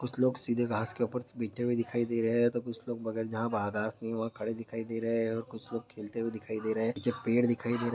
कुछ लोग सीधे घास ऊपर से बैठे हुए दिखाई दे रहे है कुछ लोग बगैर जहाँ वहाँ घास नहीं वहाँ खड़े दिखाई दे रहे है और कुछ लोग खेलते हुए दिखाई दे रहे है पीछे पेड़ दिखाई दे रहे है।